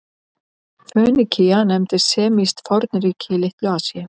Fönikía nefndist semískt fornríki í Litlu-Asíu.